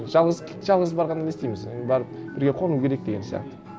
жалғыз жалғыз барғаннан не істейміз барып бірге қону керек деген сияқты